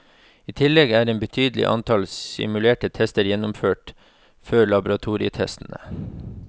I tillegg er et betydelig antall simulerte tester gjennomført før laboratorietestene.